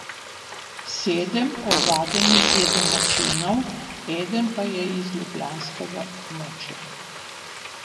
Sedem ovadenih je domačinov, eden pa je z ljubljanskega območja.